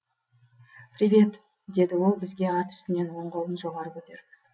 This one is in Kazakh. привет деді ол бізге ат үстінен оң қолын жоғары көтеріп